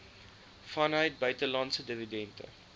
vanuit buitelandse dividende